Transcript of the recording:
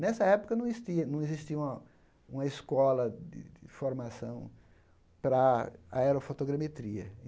Nessa época, não estia não existia uma uma escola de formação para a aerofotogrametria.